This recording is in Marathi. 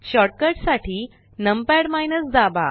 शॉर्ट कट साठी नंपाड दाबा